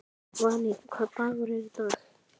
Valý, hvaða dagur er í dag?